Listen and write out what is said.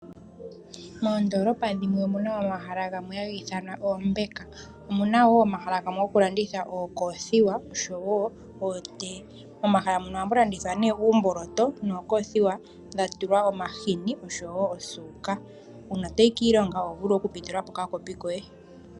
Moondolopa dhimwe omuna omahala gamwe hagithanwa oombeka, omunawo omahala gamwe gokulanditha ookothiwa noshowo ootee, momamahala muka oha mulandithwa uumboloto nokothiwa dhatulwa omashini noshowo osuuka, uuna toyi kiilongo oho vulu okupitulapo okakopi koye.